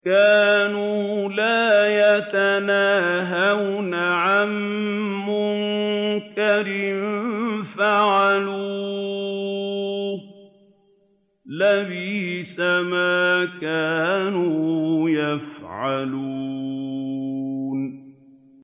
كَانُوا لَا يَتَنَاهَوْنَ عَن مُّنكَرٍ فَعَلُوهُ ۚ لَبِئْسَ مَا كَانُوا يَفْعَلُونَ